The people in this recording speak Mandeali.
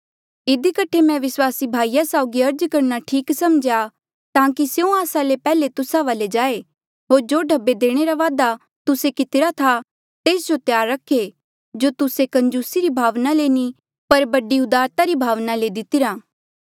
इधी कठे मैं विस्वासी भाईया साउगी अर्ज करणा ठीक समझ्या ताकि स्यों आस्सा ले पैहले तुस्सा वाले जाए होर जो ढब्बे देणे रा वादा तुस्से कितिरा था तेस जो त्यार रखे जो तुस्से कंजूसी री भावना ले नी पर बड़ी उदारता री भावना ले दितिरा